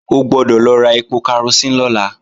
O gbọ́dọ̀ lọ ra ẹpo karosín lọ́la